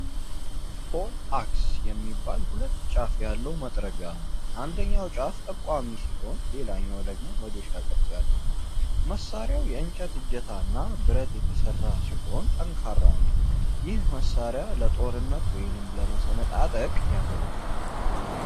ፖልአክስ የሚባል ሁለት ጫፍ ያለው መጥረቢያ ነው። አንደኛው ጫፍ ጠቋሚ ሲሆን፣ ሌላኛው ደግሞ መዶሻ ቅርጽ ያለው ነው። መሳሪያው የእንጨት እጀታ እና ብረት የተሰራ ጠንካራ ነው። ይህ መሳሪያ ለጦርነት ወይም ለመሰነጣጠቅ ያገለግላል።